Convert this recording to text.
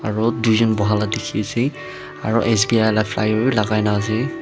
aru tuijon bohala dikhiase aro s b i la bilakai na ase.